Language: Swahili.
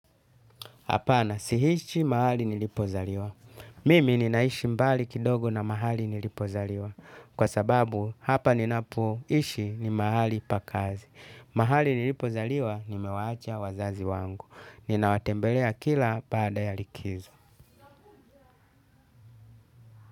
Hapana, si ishi mahali nilipozaliwa. Mimi ninaishi mbali kidogo na mahali nilipozaliwa. Kwa sababu hapa ninapo ishi ni mahali pa kazi. Mahali nilipozaliwa, nimewaacha wazazi wangu. Ninawatembelea kila baada ya likizo.